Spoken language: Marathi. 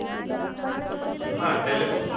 हा telecom